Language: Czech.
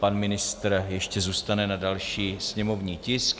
Pan ministr ještě zůstane na další sněmovní tisk.